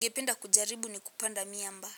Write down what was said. Ningependa kujaribu ni kupanda miamba.